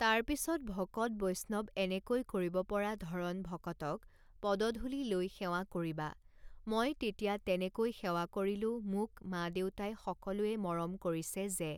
তাৰপিছত ভকত বৈষ্ণৱ এনেকৈ কৰিব পৰা ধৰণ ভকতক পদধূলি লৈ সেৱা কৰিবা মই তেতিয়া তেনেকৈ সেৱা কৰিলোঁ মোক মা দেউতাই সকলোৱে মৰম কৰিছে যে